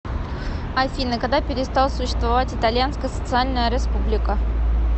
афина когда перестал существовать итальянская социальная республика